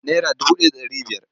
Nara dubu ɗaya da ɗari biyar.